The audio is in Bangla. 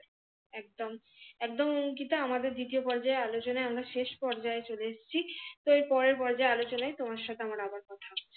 একদম একদম গীতা আমাদের দ্বিতীয় পর্যায়ে আলোচনায় আমরা শেষ পর্যায়ে চলে এসেছি তো এই পরের পর্যায়ে আলোচনা তোমার সাথে আমার আবার কথা হবে